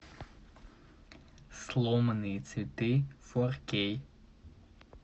сломанные цветы фор кей